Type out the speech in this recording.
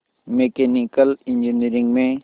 mechanical engineering में